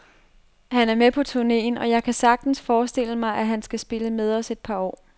Han er med på turnéen, og jeg kan da sagtens forestille mig, at han skal spille med os et par år.